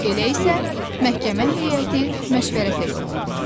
Elə isə məhkəmə heyəti məşvərətə yollanır.